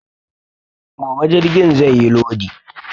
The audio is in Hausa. Gobe jirgin zai yi lodi